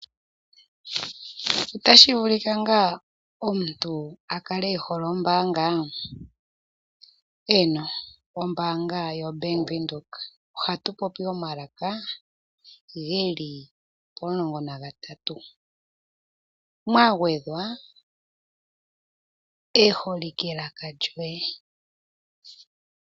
Otashi vulika ngaa omuntu akale ehole ombaanga? Eeno, ombaanga yo Bank windhoek ohatu popi omalaka geli pomulongo nagatatu. Mwagedhwa eholike laka lyoye.